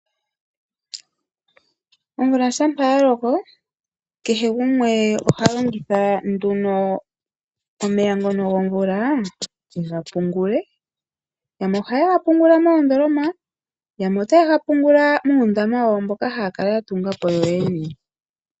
Omvula ngele yaloko kehe gumwe oha longitha nduno omeya gomvula yegapungule. Yamwe ohaye ga pungula moondooloma, yamwe ohaye ga pungula muundama mbono haya kala yatunga yoyene.